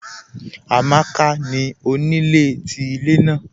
Amàkà ni onílẹ̀ tí ilẹ̀ naà